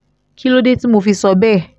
kí ló dé tí mo fi sọ bẹ́ẹ̀